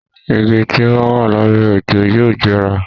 Igi tí ó bá wà lábẹ́ òjò yóò jẹrà.